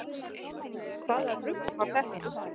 Hvaða rugl var þetta nú?